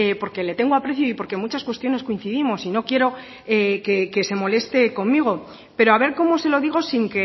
porque le tengo aprecio y porque en muchas cuestiones coincidimos y no quiero que se moleste conmigo pero a ver cómo se lo digo sin